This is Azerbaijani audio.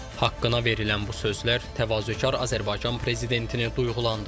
Haqqına verilən bu sözler təvazökar Azərbaycan prezidentini duyğulandırır.